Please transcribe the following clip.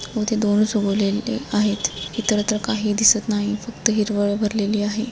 इथे दोन उगवलेले आहेत इतरत्र काही दिसत नाही फक्त हिरवळ भरलेली आहे.